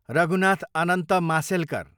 Raghunath Anant Mashelkar